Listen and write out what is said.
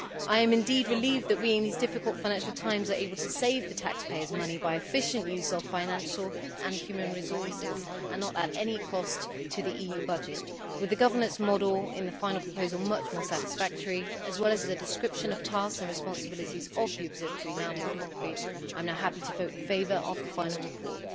I am indeed relieved that we, in these difficult financial times, are able to save the taxpayers money by efficient use of financial and human resources and at no cost to the EU budget. With the governance model in the final proposal being much more satisfactory, and the description of the tasks and responsibilities of the Observatory now being more concrete, I am now happy to vote in favour of the final report.